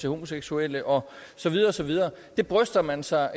homoseksuelle og så videre og så videre det bryster man sig